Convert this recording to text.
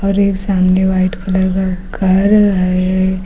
और एक सामने व्हाइट कलर का घर है।